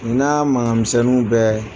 N'a mankan misɛnninw bɛɛ